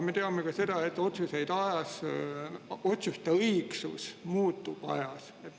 Me teame ka seda, et otsuste õigsus muutub ajas.